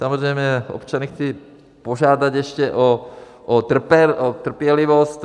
Samozřejmě občany chci požádat ještě o trpělivost.